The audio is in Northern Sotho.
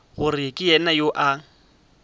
gore ke yena yo a